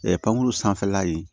pankuru sanfɛla in